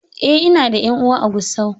Eh, ina da ƴan uwa a Gusau